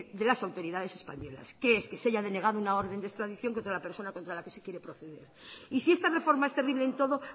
de las autoridades españolas que es que se haya denegado una orden de extradición contra la persona contra la que se quiere proceder y si esta reforma es terrible en todo